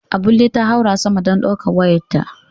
Abulle ta haura sama dan daukar wayarta.